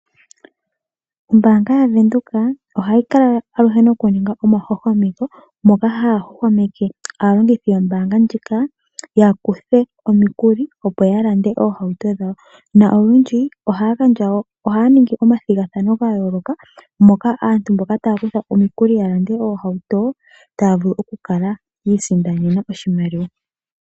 Ombaanga yaVenduka ohayi kala aluhe nokuninga omahwahwameko moka haya hwahwameke aalongithi yombaanga ndjika, yakuthe omikuli opo yalande oohauto dhawo, na olundji ohaya ningi omathigathano gayooloka, moka aantu mboka taya kutha omikuli yalande oohauto taya vulu okukala yiisindanena oshimaliwa.